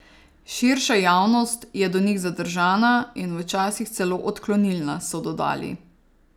Širša javnost je do njih zadržana in včasih celo odklonilna, so dodali.